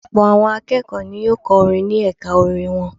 Ọ̀pọ̀ àwọn akẹ́kọ̀ọ́ ni yóò kọ́ orin ní ẹ̀ka orin wọn.